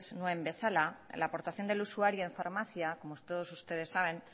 nuen bezala la aportación del usuario en farmacia como todos ustedes saben